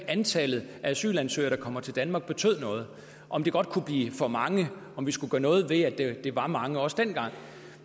antallet af asylansøgere der kommer til danmark betød noget om det godt kunne blive for mange om vi skulle gøre noget ved at det var mange også dengang